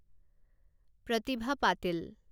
Pratibha Patil